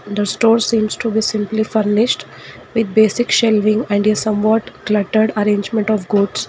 the stores seems to be simply furnished with basic shelving and the some what cluttered arrangement of goods.